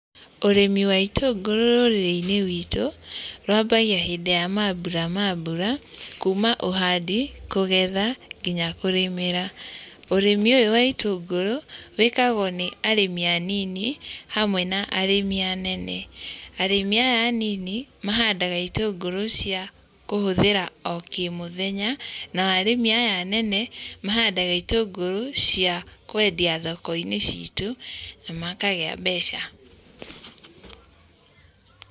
Ũrĩmi wa itũngũrũ rũrĩrĩ-inĩ rwitũ, rwambagia hĩndĩ ya mambura ma mbura, kuuma ũhandi, kũgetha nginya kũrĩmĩra. Ũrĩmi ũyũ wa itũngũrũ, wĩkagwo nĩ arĩmi anini hamwe na arĩmi anene. Arĩmi aya anini mahandaga itũngũrũ cia kũhũthĩra o kĩmũthenya, nao arĩmi aya anene, mahandaga itũngũrũ cia kwendia thoko-inĩ citũ na makagĩa mbeca.